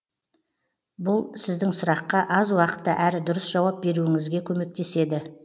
бұл сіздің сұраққа аз уақытта әрі дұрыс жауап беруіңізге көмектеседі